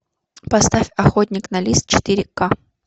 поставь охотник на лис четыре к